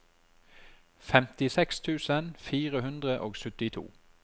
femtiseks tusen fire hundre og syttito